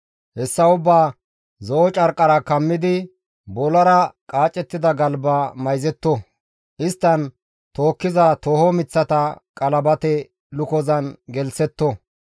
Hessa ubbaa zo7o carqqan kammidi bollara qaacettida galba mayzetto; isttan tookkiza tooho miththata qalabate lukozan gelththetto.